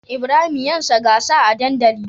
Ibrahim yansa gasa a dandali